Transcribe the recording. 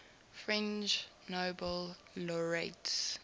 french nobel laureates